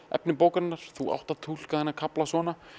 efni bókarinnar þú átt að túlka þennan kafla svona